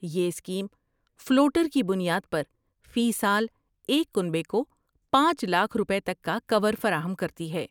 یہ scheme floater کی بنیاد پر فی سال ایک کنبے کو پانچ لاکھ روپے تک کا کور فراہم کراتی ہے